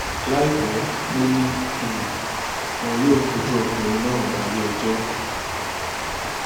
láìpẹ lọ ni um wọn yóò fojú ọkùnrin náà balẹẹjọ